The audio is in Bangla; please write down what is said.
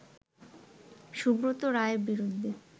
সুব্রত রায়ের বিরুদ্ধে